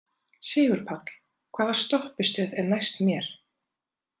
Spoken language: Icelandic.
Sigurpáll, hvaða stoppistöð er næst mér?